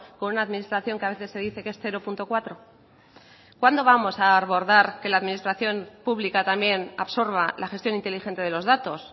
con una administración que a veces se dice que es cero punto cuatro cuándo vamos a abordar que la administración pública también absorba la gestión inteligente de los datos